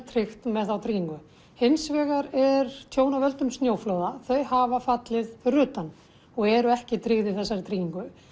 tryggt með þá tryggingu hins vegar er tjón af völdum snjóflóða þau hafa fallið fyrir utan og eru ekki tryggð í þessari tryggingu